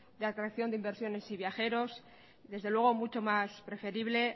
de atracción de inversiones y viajeros desde luego mucho más preferible